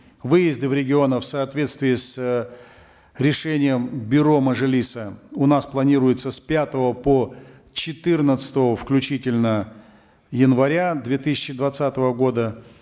выезды в регионы в соответствии с э решением бюро мажилиса у нас планируются с пятого по четырнадцатое включительно января две тысячи двадцатого года